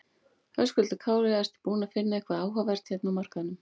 Höskuldur Kári: Ertu búinn að finna eitthvað áhugavert hérna á markaðnum?